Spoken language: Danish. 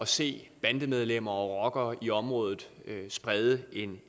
se bandemedlemmer og rockere i området sprede en